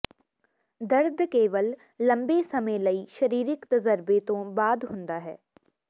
ਦਰਦ ਕੇਵਲ ਲੰਬੇ ਸਮੇਂ ਲਈ ਸਰੀਰਕ ਤਜਰਬੇ ਤੋਂ ਬਾਅਦ ਹੁੰਦਾ ਹੈ